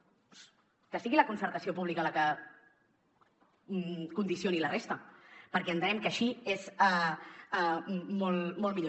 doncs que sigui la concertació pública la que condicioni la resta perquè entenem que així és molt millor